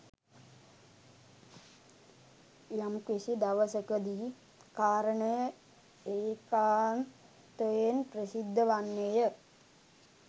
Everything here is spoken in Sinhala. යම්කිසි දවසකදී කාරණය ඒකාන්තයෙන් ප්‍රසිද්ධ වන්නේ ය.